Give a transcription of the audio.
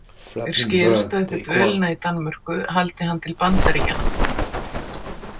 Mér skilst að eftir dvölina í Danmörku haldi hann til Bandaríkjanna.